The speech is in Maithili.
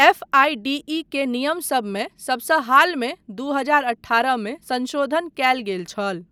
एफआईडीई के नियमसबमे सबसँ हालमे दू हजार अठारह मे संशोधन कयल गेल छल।